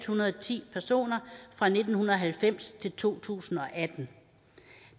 hundrede og ti personer fra nitten halvfems til to tusind og atten